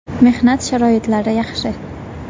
Mehnat sharoitlari yaxshi.